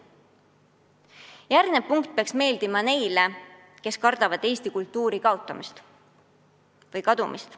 See punkt peaks meeldima neile, kes kardavad eesti kultuuri kaotamist või kadumist.